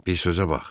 Bir sözə bax.